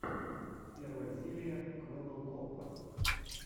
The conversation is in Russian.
первая серия квеббел копа